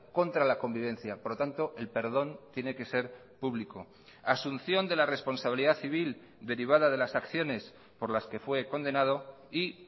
contra la convivencia por lo tanto el perdón tiene que ser público asunción de la responsabilidad civil derivada de las acciones por las que fue condenado y